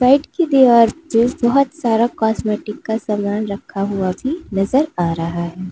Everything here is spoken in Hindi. राइट की दीवार पे बहुत सारा कॉस्मेटिक का सामान रखा हुआ भी नजर आ रहा है।